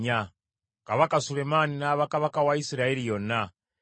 Kabaka Sulemaani n’aba kabaka wa Isirayiri yonna.